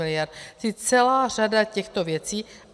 Čili celá řada těchto věcí.